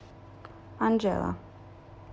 анжела